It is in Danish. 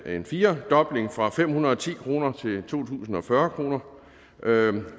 en firedobling fra fem hundrede og ti kroner til tusind og fyrre kroner